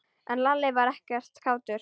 En Lalli var ekkert kátur.